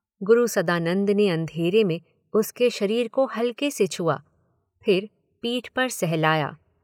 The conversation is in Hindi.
गुरु सदानंद ने अंधेरे में उसके शरीर को हल्के से छुआ, फिर पीठ पर सहलाया।